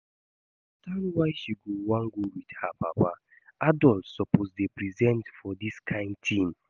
I understand why she go wan go with her papa, adult suppose dey present for dis kyn thing